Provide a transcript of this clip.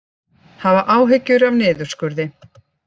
Hafa áhyggjur af niðurskurði